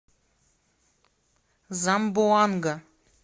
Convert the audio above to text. замбоанга